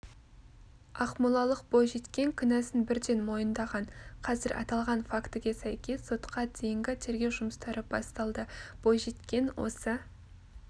ақмолалық бойжеткен кінәсін бірден мойындаған қазір аталған фактіге сәйкес сотқа дейінгі тергеу жұмыстары басталды бойжеткен осы